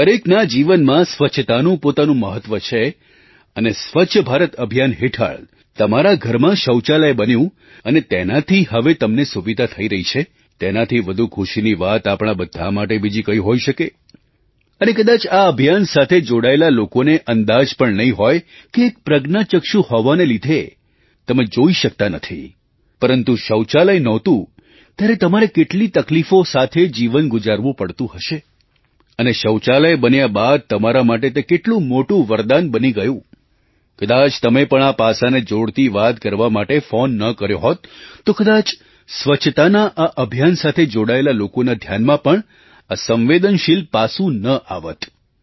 દરેકના જીવનમાં સ્વચ્છતાનું પોતાનું મહત્ત્વ છે અને સ્વચ્છ ભારત અભિયાન હેઠળ તમારા ઘરમાં શૌચાલય બન્યું અને તેનાથી હવે તમને સુવિધા થઈ રહી છે તેનાથી વધુ ખુશીની વાત આપણા બધા માટે બીજી કઈ હોઈ શકે અને કદાચ આ અભિયાન સાથે જોડાયેલા લોકોને અંદાજ પણ નહીં હોય કે એક પ્રજ્ઞાચક્ષુ હોવાના લીધે તમે જોઈ શકતા નથી પરંતુ શૌચાલય નહોતું ત્યારે તમારે કેટલી તકલીફો સાથે જીવન ગુજારવું પડતું હશે અને શૌચાલય બન્યા બાદ તમારા માટે તે કેટલું મોટું વરદાન બની ગયું કદાચ તમે પણ આ પાસાને જોડતી વાત કરવા માટે ફૉન ન કર્યો હોત તો કદાચ સ્વચ્છતાના આ અભિયાન સાથે જોડાયેલા લોકોના ધ્યાનમાં પણ આ સંવેદનશીલ પાસું ન આવત